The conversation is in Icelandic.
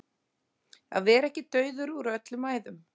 Að vera ekki dauður úr öllum æðum